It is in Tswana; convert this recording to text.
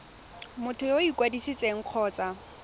motho yo o ikwadisitseng kgotsa